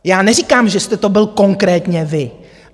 Já neříkám, že jste to byl konkrétně vy.